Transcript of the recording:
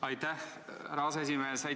Aitäh, härra aseesimees!